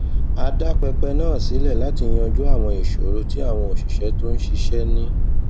a dá pẹpẹ náà sílẹ láti yanjú àwọn ìṣòro tí àwọn òṣìṣẹ tó ń ṣiṣé ní